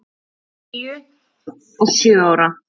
Þær eru níu og sjö ára.